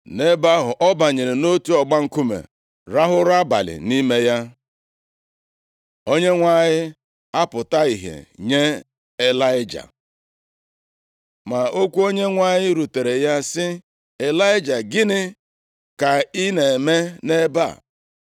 Nʼebe ahụ, ọ banyere nʼotu ọgba nkume rahụ ụra abalị nʼime ya. Onyenwe anyị apụta ìhè nye Ịlaịja Ma okwu Onyenwe anyị rutere ya sị, “Ịlaịja, gịnị ka ị na-eme nʼebe a?”